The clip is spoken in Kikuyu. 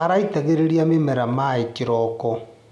Araitagĩrĩria mĩmera maĩ o kĩroko.